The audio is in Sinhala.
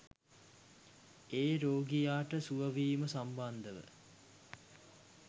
ඒ රෝගියාට සුව වීම සම්බන්ධව.